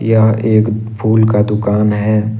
यह एक फूल का दुकान है।